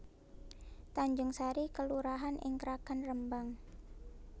Tanjungsari kelurahan ing Kragan Rembang